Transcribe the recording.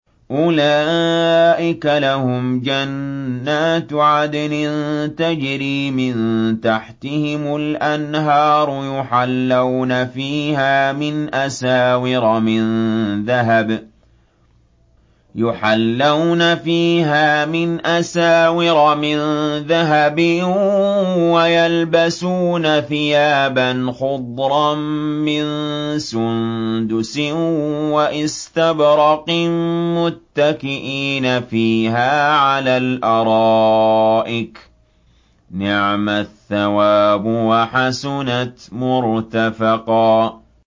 أُولَٰئِكَ لَهُمْ جَنَّاتُ عَدْنٍ تَجْرِي مِن تَحْتِهِمُ الْأَنْهَارُ يُحَلَّوْنَ فِيهَا مِنْ أَسَاوِرَ مِن ذَهَبٍ وَيَلْبَسُونَ ثِيَابًا خُضْرًا مِّن سُندُسٍ وَإِسْتَبْرَقٍ مُّتَّكِئِينَ فِيهَا عَلَى الْأَرَائِكِ ۚ نِعْمَ الثَّوَابُ وَحَسُنَتْ مُرْتَفَقًا